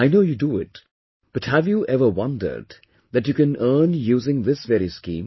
I know you do it, but have you ever wondered that you can earn using this very scheme